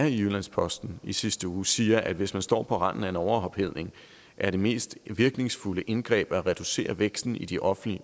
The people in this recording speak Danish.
i jyllands posten i sidste uge siger at hvis man står på randen af en overophedning er det mest virkningsfulde indgreb at reducere væksten i de offentlige